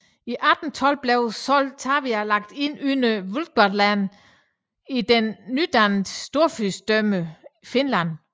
I 1812 blev Sortavala lagt ind under Vyborg län i det nydannede storfyrstendømme Finland